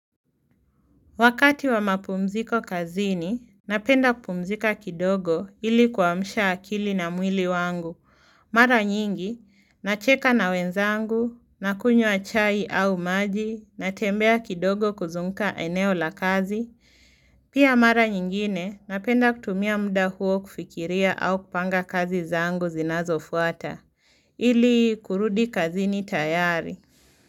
Wakati wa mapumziko kazini, napenda kupumzika kidogo ili kuamsha akili na mwili wangu. Mara nyingi, nacheka na wenzangu, nakunywa chai au maji, natembea kidogo kuzungka eneo la kazi. Pia mara nyingine, napenda kutumia muda huo kufikiria au kupanga kazi zangu zinazo fuata, ili kurudi kazini tayari.